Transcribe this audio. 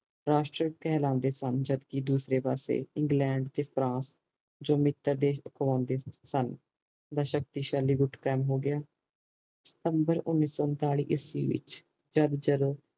ਰਾਸ਼ਟਰ ਕਹਿਲਾਂਦੇ ਸਨ ਜਦਕਿ ਦੂਸਰੇ ਪਾਸੇ ਇੰਗਲੈਂਡ ਤੇ ਫਰਾਂਸ ਜੋ ਮਿੱਤਰ ਦੇਸ਼ ਅਖਵਾਂਦੇ ਸਨ ਦਾ ਸ਼ਕਤੀਸ਼ਾਲੀ ਗੁੱਟ ਕਾਇਮ ਹੋਗਿਆ ਸਤੰਬਰ ਉਣੀ ਸੋ ਉਨਤਾਲੀ ਉਸਵੀ ਵਿਚ ਜਦ ਜਦੋ